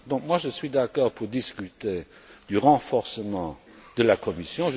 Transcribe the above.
Donc, je suis d'accord pour discuter du renforcement de la Commission.